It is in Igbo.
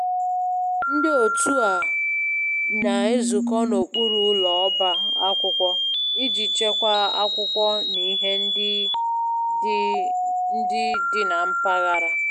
Ndị otu a na-ezukọ n'okpuru ụlọ ọba akwụkwọ iji chekwaa akwụkwọ na ihe ndị dị ndị dị na mpaghara